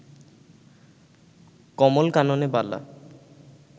কমল-কাননে বালা